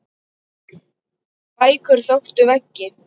Bækur þöktu veggi.